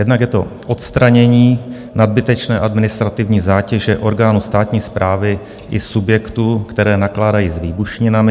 Jednak je to odstranění nadbytečné administrativní zátěže orgánů státní správy i subjektů, které nakládají s výbušninami.